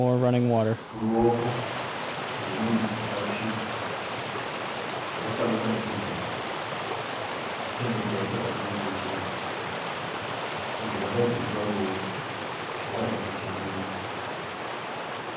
Ruoko rwemunhu akatsvuka. Rwakabata kebheji. Kebheji racho rakanyatsochekwa. Nzwara dziri paruoko dzakada kucheneruka.